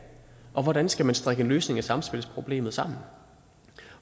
og hvordan skal man strikke en løsning af samspilsproblemet sammen